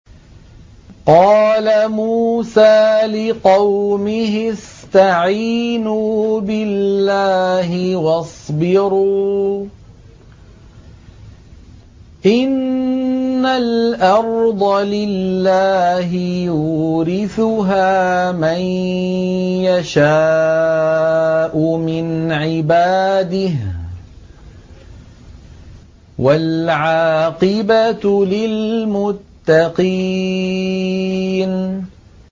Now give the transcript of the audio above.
قَالَ مُوسَىٰ لِقَوْمِهِ اسْتَعِينُوا بِاللَّهِ وَاصْبِرُوا ۖ إِنَّ الْأَرْضَ لِلَّهِ يُورِثُهَا مَن يَشَاءُ مِنْ عِبَادِهِ ۖ وَالْعَاقِبَةُ لِلْمُتَّقِينَ